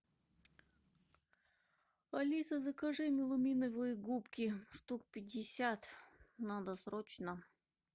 алиса закажи меламиновые губки штук пятьдесят надо срочно